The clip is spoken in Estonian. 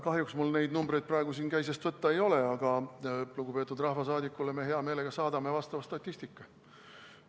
Kahjuks mul neid numbreid praegu käisest võtta ei ole, aga lugupeetud rahvasaadikule me hea meelega saadame vastava statistika.